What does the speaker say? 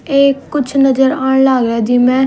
एक कुछ नजर आण लाग रया जी म्ह--